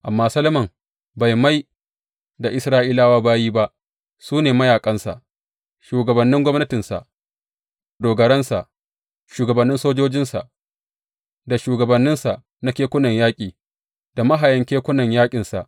Amma Solomon bai mai da Isra’ilawa bayi ba; su ne mayaƙansa, shugabannin gwamnatinsa, dogarawansa, shugabannin sojojinsa, da shugabanninsa na kekunan yaƙi da mahayan kekunan yaƙinsa.